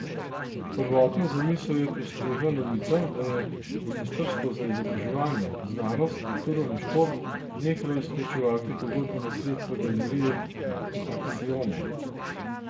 Prvotno zamisel je prestregla novica, da je ministrstvo za izobraževanje, znanost, kulturo in šport nehalo izplačevati pogodbena sredstva galeriji Aksiome.